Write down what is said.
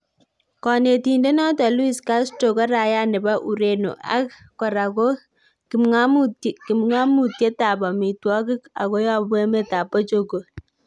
Konetindet noton Luiz Castro ko raia nebo Ureno ak kora ko kipng'omutiet ab omitwogik ago yobu emetab Portugal